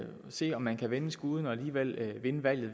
se om man kan vende skuden og alligevel vinde valget